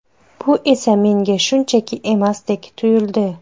Bu esa menga shunchaki emasdek tuyuldi”.